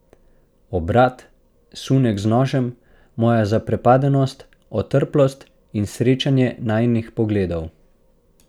Obrat, sunek z nožem, moja zaprepadenost, otrplost in srečanje najinih pogledov.